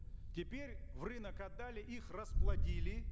теперь в рынок отдали их расплодили